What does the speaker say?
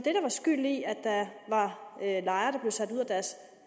skyld i at der var lejere der blev sat ud af deres